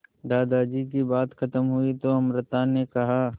दादाजी की बात खत्म हुई तो अमृता ने कहा